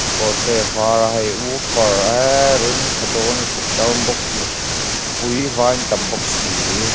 kawr te a var a hei woofer eee ring ṭha dâwn lutuk sound box mihri pui vai an tam bawk si.